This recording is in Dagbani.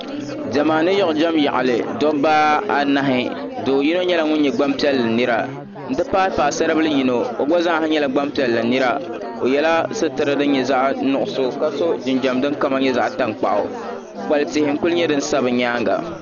Diɛma ni yiɣijɛm yaɣili dabba anahi do yino nyɛla ŋun nyɛ gban piɛlli nira n ti pahi paɣasaribili yino o gba zaa nyɛla gbanpiɛlli nira o yɛla situra din nyɛ zaɣ'nuɣso ka so jinjɛm din kama nyɛ zaɣ'tankpaɣu kpukpali tia n kuli nyɛ din sa bi nyaanga